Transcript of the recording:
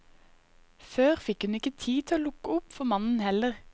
Før fikk hun ikke tid til å lukke opp for mannen heller.